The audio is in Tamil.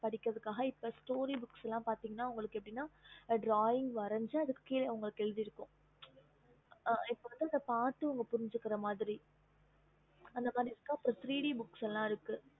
okey okay mam okay mam